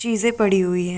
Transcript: चीज़े पड़ी हुई है।